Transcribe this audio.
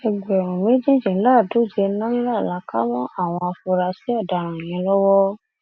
ẹgbẹrún méjìdínláàádóje náírà la kà mọ àwọn afurasí ọdaràn yẹn lọwọ